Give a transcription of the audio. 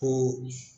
O